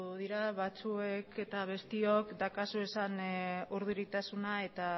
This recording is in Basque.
dira batzuek eta besteok dauzkazuen urduritasuna eta